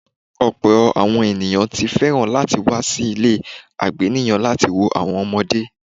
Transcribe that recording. Ọpọ̀ àwọn ènìyàn ti fẹ́ràn láti wá sí ilé àgbéníyàn láti wo àwọn ọmọdé.